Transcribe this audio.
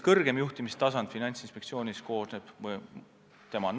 Kõrgem juhtimistasand on Finantsinspektsioonis tema nõukogu.